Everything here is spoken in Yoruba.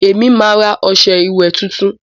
èmi má rà ọṣẹ ìwé títún